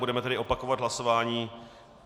Budeme tedy opakovat hlasování.